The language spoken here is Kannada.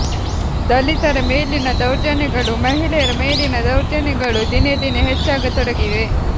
ದಲಿತರ ಮೇಲಿನ ದೌರ್ಜನ್ಯ ಗಳು ಮಹಿಳೆಯರ ಮೇಲಿನ ದೌರ್ಜನ್ಯಗಳು ದಿನೇ ದಿನೇ ಹೆಚ್ಚಾಗತೊಡಗಿವೆ